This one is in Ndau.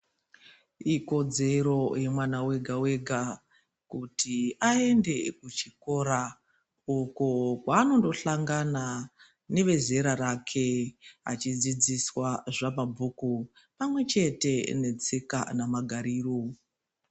Ikodzero yemwana wega-wega ,kuti aende kuchikora, uko zvaanondohlangana nevezera rake ,achidzidziswa zvamabhuku pamwe chete netsika namagariro.